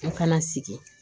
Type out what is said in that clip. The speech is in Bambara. An kana sigi